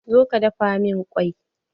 Zo ka dafa min kwai!